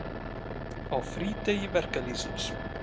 Á frídegi verkalýðsins.